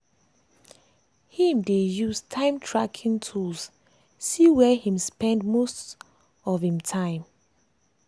him dey use time tracking tools see where him spend most of spend most of him time.